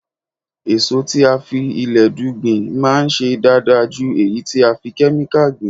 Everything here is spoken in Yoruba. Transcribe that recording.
Èso tí a fi ilẹ̀dú gbìn máa ń ṣe dáadáa ju èyí tí a fi Kẹ́míkà gbìn.